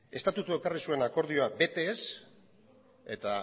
estatutua ekarri zuen akordioa bete ez eta